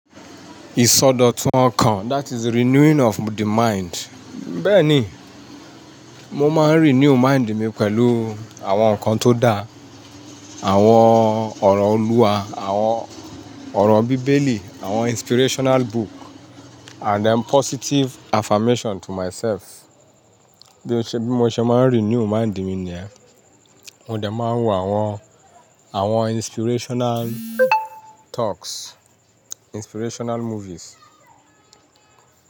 Ìsọdọ̀tun ọkàn, that is renewing of the mind. Bẹ́ẹ̀ ni, mo máa ń renew mind mi pẹ̀lú àwọn nǹkan tó da, àwọn ọ̀rọ̀ Olúwa, àwọn ọ̀rọ̀ Bíbélì, àwọn inspirational book and then positive affirmation to myself. Bí mo ṣe máa ń renew mind mi ni ẹ, mo dẹ̀ máa ń wo àwọn, àwọn inspirational talks, inspirational movies.